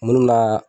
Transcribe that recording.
Minnu bɛ na